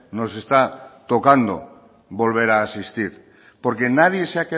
nos está tocando volver a asistir porque nadie